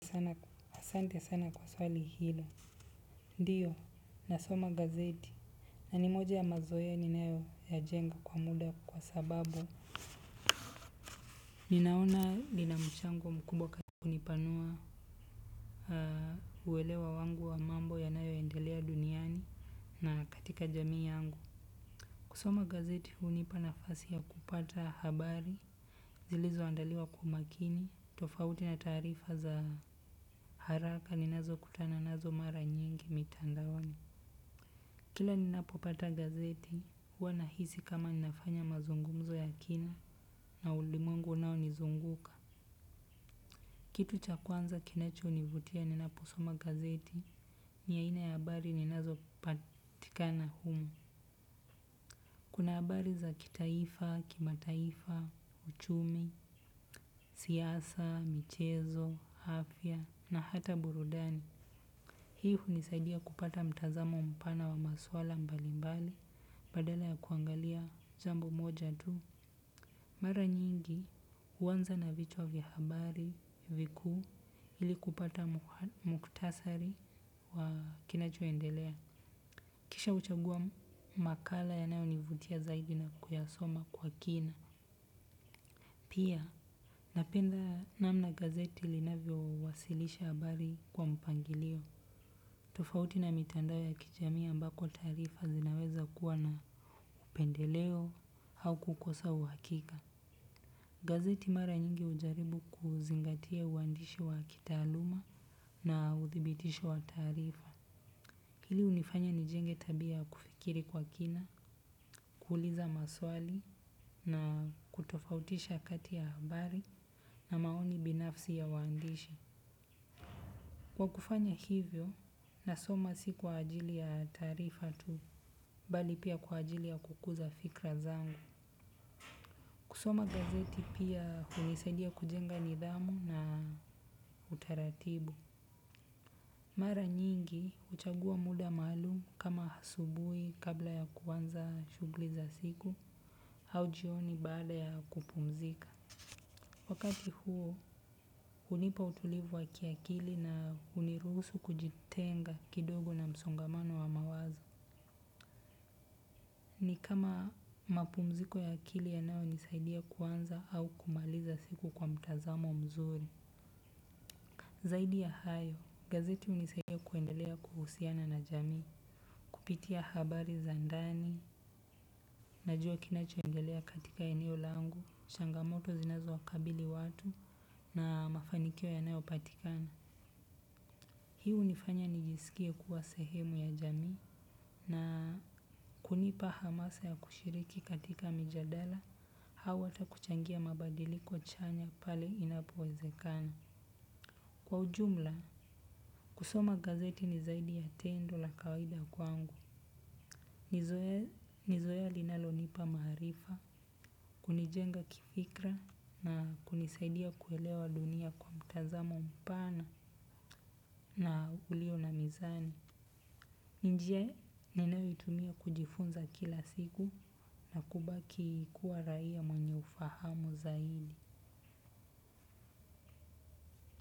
Asante sana kwa swali hilo. Ndiyo, nasoma gazeti na ni moja ya mazowea ni nayo ya jenga kwa muda kwa sababu ninaona lina mchango mkubwa katika kunipanua uwelewa wangu wa mambo yanayo endelea duniani na katika jamii yangu. Kusoma gazeti hunipana nafasi ya kupata habari, zilizo andaliwa kwa makini, tofauti na taarifa za haraka ni nazo kutana nazo mara nyingi mitandaoni. Kila ninapopata gazeti, huwa nahisi kama ninafanya mazungumzo ya kina na ulimwengu unao nizunguka. Kitu cha kwanza kinacho nivutia ninaposoma gazeti, ni aina ya habari ninazo patika na humu. Kuna habari za kitaifa kimataifa uchumi siasa uchumi afya na hata burudani. Hii hunisaidia kupata mtazamo mpana wa maswala mbalimbali. Badala ya kuangalia jambo moja tu mara nyingi huanza na vichwa vya habari vikuu ili kupata mukhtasari wa kinachoendelea. Kisha huchagua makala yanayo ni vutia zaidi na kuyasoma kwa kina. Pia napenda namna gazeti linavyo wasilisha habari kwa mpangilio. Tofauti na mitandao ya kijamii ambako taarifa zinaweza kuwa na upendeleo au kukosa uhakika. Gazeti mara nyingi hujaribu kuzingatia uandishi wa kitaaluma na uthibitisho wa taarifa. Hili hunifanya nijenge tabia ya kufikiri kwa kina, kuuliza maswali na kutofautisha kati ya habari na maoni binafsi ya waandishi. Kwa kufanya hivyo, nasoma si kwa ajili ya taarifa tu, bali pia kwa ajili ya kukuza fikra zangu. Kusoma gazeti pia hunisaidia kujenga nidhamu na utaratibu. Mara nyingi, huchagua muda maalumu kama asubui kabla ya kuanza shughuli za siku, au jioni baada ya kupumzika. Wakati huo, hunipa utulivu wa kiakili na hunirusu kujitenga kidogo na msongamano wa mawazo. Ni kama mapumziko ya akili yanayo nisaidia kuanza au kumaliza siku kwa mtazamo mzuri. Zaidi ya hayo gazeti hunisaidia kuendelea kuhusiana na jamii. Kupitia habari za ndani, najua kinachoendelea katika eneo langu, changamoto zinazo wakabili watu na mafanikio yanayo patikana. Hii hunifanya nijisikie kuwa sehemu ya jamii. Na kunipa hamasa ya kushiriki katika mijadala au hata kuchangia mabadiliko chanya pale inapowezekana. Kwa ujumla kusoma gazeti ni zaidi ya tendo la kawaida kwangu ni nizowea linalo nipa maarifa, kunijenga kifikra na kunisaidia kuelewa dunia kwa mtazamo mpana na ulio na mizani. Ni njia ninayo itumia kujifunza kila siku na kubaki kuwa raia mwenye ufahamu zaidi.